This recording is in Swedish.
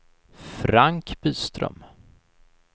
Frank Byström